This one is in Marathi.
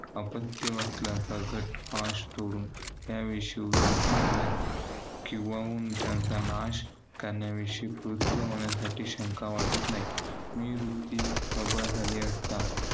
आपत्य वसल्या सकट पाश तोडून. या विषयी उदासीन होण्यास. किंवा चा नाश करण्याविषयी कृत्य होण्यासाठी शंका वाटत नाही. मी वृत्ती प्रबळ झाली असता.